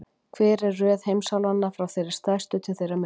Hver er röð heimsálfanna, frá þeirri stærstu til þeirrar minnstu?